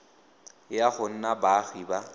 ya go nna baagi ba